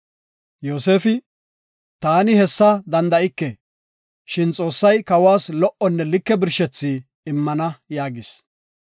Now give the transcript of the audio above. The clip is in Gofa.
Yoosefi, “Taani hessa danda7ike, shin Xoossay kawas lo77onne like birshethi immana” yaagis.